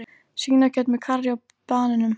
Svínakjöt með karrí og banönum